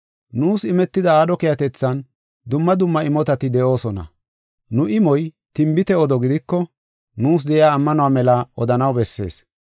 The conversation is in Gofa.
Nuus imetida aadho keehatethan dumma dumma imotati de7oosona. Nu imoy tinbit odo gidiko, nuus de7iya ammanuwa mela odanaw bessees.